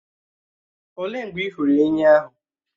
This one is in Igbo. Òlee mgbe ị hụrụ ènyị́ ahụ?